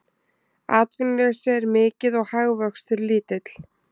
Atvinnuleysi er mikið og hagvöxtur lítill